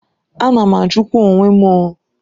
A na m ajukwa onwe m ooo.